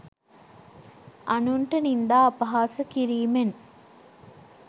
අනුන්ට නින්දා අපහාස කිරීමෙන්.